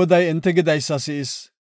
Goday enti gidaysa si7is.